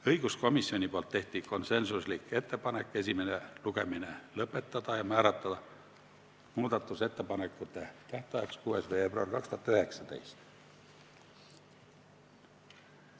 Õiguskomisjon tegi konsensuslikud ettepanekud esimene lugemine lõpetada ja määrata muudatusettepanekute esitamise tähtajaks 6. veebruar 2019.